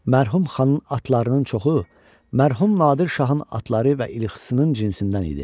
Mərhum xanın atlarının çoxu mərhum Nadir şahın atları və ilxısının cinsindən idi.